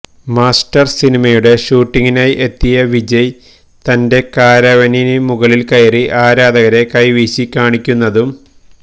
master സിനിമയുടെ ഷൂട്ടിനായി എത്തിയ വിജയ് തന്റെ കാരവാനിന് മുകളിൽ കയറി ആരാധകരെ കൈവീശി കാണിക്കുന്നതും